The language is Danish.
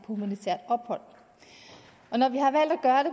humanitært ophold